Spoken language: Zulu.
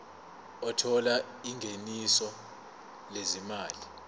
othola ingeniso lezimali